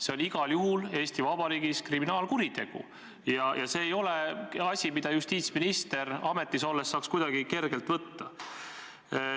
See on igal juhul Eesti Vabariigis kriminaalkuritegu ja see ei ole asi, mida justiitsminister ametis olles saaks kuidagi kergelt võtta.